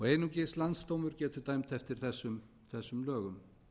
einungis landsdómur getur dæmt eftir þessum lögum